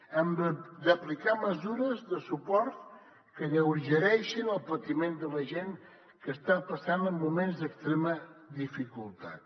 hem d’aplicar mesures de suport que alleugereixin el patiment de la gent que està passant moments d’extrema dificultat